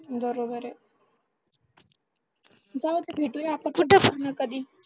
बरोबर आहे जाऊदे भेटूया आपण कुठेतरी कधीतरी